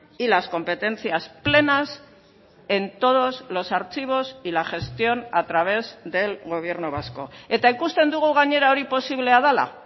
y las competencias plenas en todos los archivos y la gestión a través del gobierno vasco eta ikusten dugu gainera hori posiblea dela